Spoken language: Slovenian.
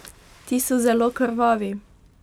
Ti so zelo krvavi?